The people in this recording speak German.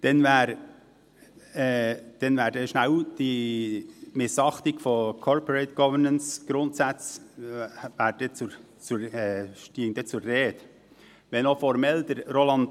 Dann käme schnell die Missachtung von Corporate-Governance-Grundsätzen zur Sprache, wenn auch Roland Näf formell Recht hat: